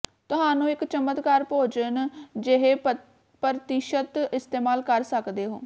ਤੁਹਾਨੂੰ ਇੱਕ ਚਮਕਦਾਰ ਭੋਜਨ ਿਜਹੇਪਰ੍ਤੀਸ਼ਤ ਇਸਤੇਮਾਲ ਕਰ ਸਕਦੇ ਹੋ